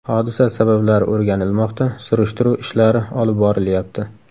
Hodisa sabablari o‘rganilmoqda, surishtiruv ishlari olib borilyapti.